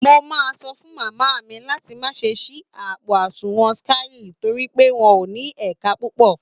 Mo máa sọ fún màmá mi láti má ṣe ṣí àpò àsùnwọ̀n Skye torí pé wọn ò ní ẹ̀ka púpọ̀